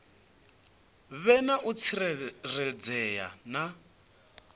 vhe na u tsireledzea na